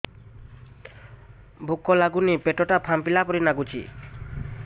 ଭୁକ ଲାଗୁନି ପେଟ ଟା ଫାମ୍ପିଲା ପରି ନାଗୁଚି